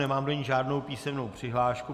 Nemám do ní žádnou písemnou přihlášku.